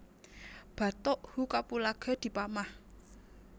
Batuk who kapulaga dipamah